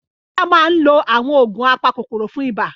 Bola máa ń lo àwọn oògùn apakòkòrò fún ibà.